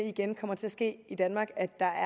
igen kommer til at ske i danmark at der